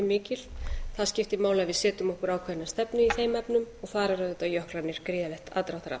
mikill það skiptir máli að við setjum okkur ákveðna stefnu í þeim efnum og þar eru auðvitað jöklarnir gríðarlegt aðdráttarafl